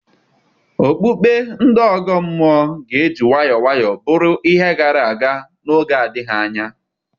Okpukpe ndị ọgọ mmụọ ga-eji nwayọọ nwayọọ bụrụ ihe gara aga n'oge adịghị anya.